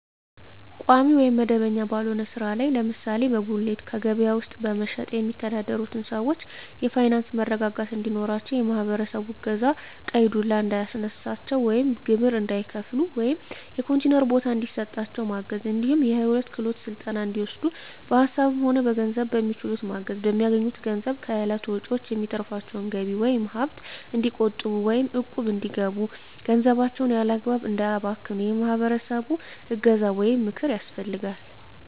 ቋሚ ወይም መደበኛ ባልሆነ ስራ ላይ ለምሳሌ በጉሌት ከበያ ውስጥ በመሸትጥ የሚተዳደሩትን ሰዎች የፋይናንስ መረጋጋት እንዲኖራቸው የማህበረሰቡ እገዛ ቀይ ዱላ እንዳያስነሳቸው ወይም ግብር እንዳይከፍሉ ወይም የኮንቲነር ቦታ እንዲሰጣቸው ማገዝ እንዲሁም የሂወት ክሄሎት ስልጠና እንዲወስዱ በሀሳብም ሆነ በገንዘብ በሚችሉት ማገዝ፣ በሚያገኙት ገንዘብ ከእለት ወጭዎች የሚተርፋቸውን ገቢ ወይም ሀብት እንዲቆጥቡ ወይም እቁብ እንዲገቡ ገንዘባቸውን ያላግባብ እንዳያባክኑ የማህበረሰቡ እገዛ ወይም ምክር ያስፈልጋል።